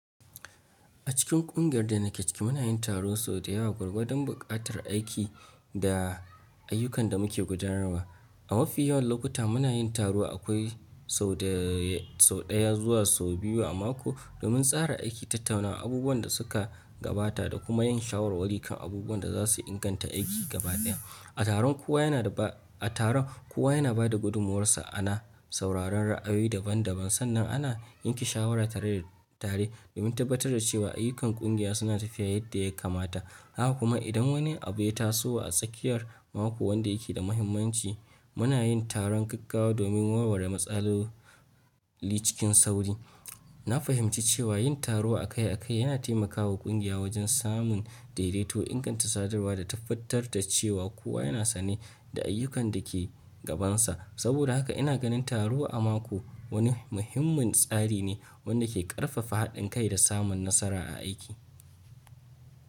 A cikin kungiyar da nake ciki muna yin taro sau da yawa gwargwadon bukatar aiki da ayyukanda muke gudanarwa. A mafi yawan lokuta muna yin taro akwai sau daya zuwa sau biyu a mako, domin tsara aiki, tattauna abubuwanda suka gabata da kuma yin shawarwari kan abubuwanda za su inganta aiki gabaɗaya. A taron, kowa yana bada gudumuwarsa ana sauraron ra'ayi daban daban sannan ana yanke shawara tareda, tare domin tabbatar da cewa ayyukan kungiya suna tafiya yadda ya kamata. Haka kuma idan wani abu ya taso a tsakiyar mako wanda yake da muhimmanci muna yin taron gaggawa domin warware matsaloli cikin sauri. Na fahimci cewa yin taro akai akai yana taimakawa kungiya wajen samun daidaito, inganta sadarwa da tabbatar da cewa kowa yana sane da ayyukan dake gabansa. Saboda haka ina ganin taro a mako wani muhimmin tsari ne wanda ke ƙarfafa haɗin kai da samun nasara a aiki.